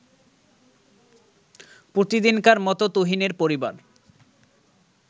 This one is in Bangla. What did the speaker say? প্রতিদিনকার মতো তুহিনের পরিবার